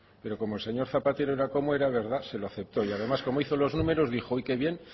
pero como el señor zapatero era como era se lo aceptó y además como hizo los números dijo qué bien